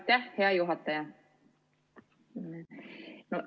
Aitäh, hea juhataja!